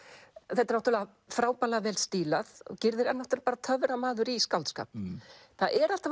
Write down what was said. þetta er náttúrulega frábærlega vel stílað gyrðir er náttúrulega töframaður í skáldskap það er alltaf